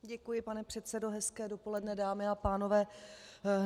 Děkuji, pane předsedo, hezké dopoledne, dámy a pánové.